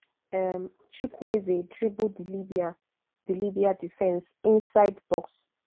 um chukwueze dribble di libya di libya defence inside box